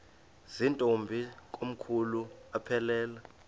zirntombi komkhulu aphelela